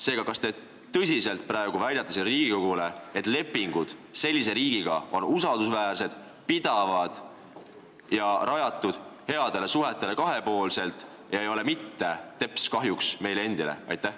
Seega, kas te tõsiselt praegu väidate Riigikogule, et lepingud sellise riigiga on usaldusväärsed, pidavad ja rajatud kahepoolselt headele suhetele ega tule mitte teps kahjuks meile endile?